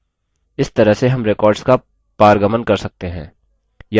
इस तरह से हम records का पारगमन कर सकते हैं